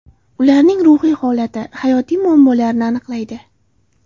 Ularning ruhiy holati, hayotiy muammolarini aniqlaydi.